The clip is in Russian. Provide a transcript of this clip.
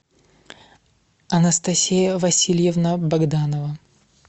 анастасия васильевна богданова